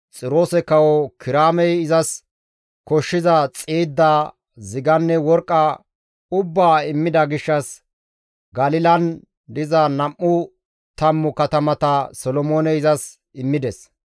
Xiroose Kawo Kiraamey izas koshshiza xiidda, ziganne worqqa ubbaa immida gishshas Galilan diza nam7u tammu katamata Solomooney izas immides.